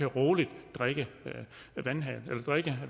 roligt kan drikke